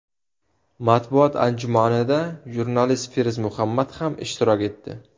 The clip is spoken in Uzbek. Matbuot anjumanida jurnalist Feruz Muhammad ham ishtirok etdi.